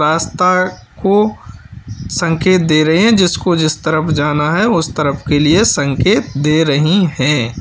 रास्ता को संकेत दे रहे हैं। जिसको जिस तरफ जाना है उसे तरफ के लिए संकेत दे रही है।